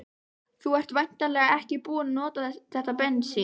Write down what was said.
Þú ert væntanlega ekki búinn að nota þetta bensín?